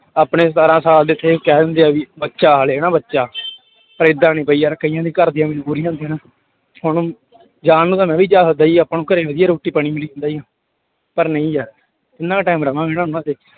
ਆਪਣੇ ਸਤਾਰਾਂ ਸਾਲ ਦੇ ਇੱਥੇ ਕਹਿ ਦਿੰਦੇ ਆ ਵੀ ਬੱਚਾ ਹਾਲੇ ਹਨਾ ਬੱਚਾ ਪਰ ਏਦਾਂ ਨੀ ਬਈ ਯਾਰ ਕਈਆਂ ਦੇ ਘਰਦਿਆਂ ਦੀ ਮਜ਼ਬੂਰੀ ਹੁੰਦੀ ਆ ਨਾ, ਹੁਣ ਜਾਣ ਨੂੰ ਤਾਂ ਮੈਂ ਵੀ ਜਾ ਸਕਦਾ ਸੀ ਆਪਾਂ ਨੂੰ ਘਰੇ ਵਧੀਆ ਰੋਟੀ ਪਾਣੀ ਮਿਲੀ ਜਾਂਦਾ ਸੀ, ਪਰ ਨਹੀਂ ਯਾਰ ਕਿੰਨਾ ਕੁ time ਰਵਾਂਗੇ ਹਨਾ ਉਹਨਾਂ ਤੇ।